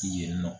Yen nɔ